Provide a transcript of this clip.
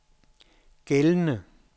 gældende